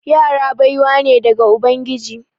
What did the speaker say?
Yara baiwa ne daga ubangiji.